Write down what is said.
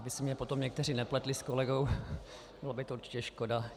Aby si mě potom někteří nepletli s kolegou, bylo by to určitě škoda.